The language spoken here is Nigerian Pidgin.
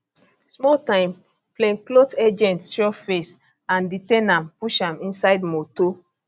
small time plainclothe agents show face and detain am push am inside motor